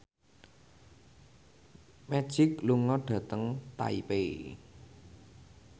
Magic lunga dhateng Taipei